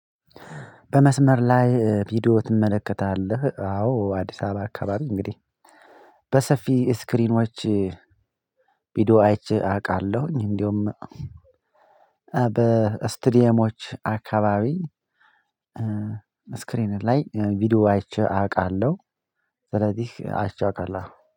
በመስመር ላይ ቪዲዮ ትመለከታለህ? አዎ አዲስ አበባ አካባቢ እንግዲህ በሰፊ ስክሪኖች ቪዲዮ አይቼ አውቃለሁኝ። እንደውም በስቱዲየሞች አካባቢ ስክሪን ላይ ቪዲዮ አይቼ አውቃለሁ። ስለዚህ አይቼ አውቃለሁ